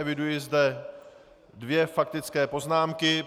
Eviduji zde dvě faktické poznámky.